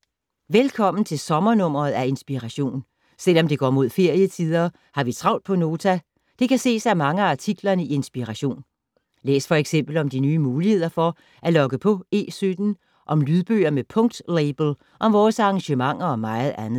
Velkommen til sommer-nummeret af Inspiration. Selv om det går mod ferie-tider, har vi travlt på Nota. Det kan ses af mange af artiklerne i Inspiration. Læs f.eks. om de nye muligheder for at logge på E17, om lydbøger med punkt-label, om vores arrangementer og meget andet.